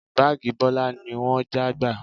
Báàgì Bọlá ni wọ́n já gbà